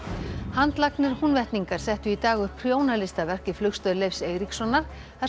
handlagnir Húnvetningar settu í dag upp prjónalistaverk í Flugstöð Leifs Eiríkssonar þar